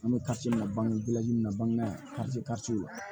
An bɛ kasiminɛ bange min na bangebaa ye yan